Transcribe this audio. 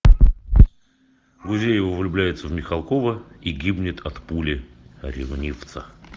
гузеева влюбляется в михалкова и гибнет от пули ревнивца